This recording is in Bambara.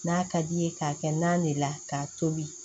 N'a ka d'i ye k'a kɛ naan de la k'a tobi